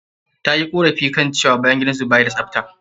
Ta yi ƙorafi cewa bayan gidan su ba ya da tsafta.